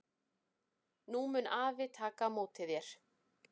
Nú mun afi taka á móti þér.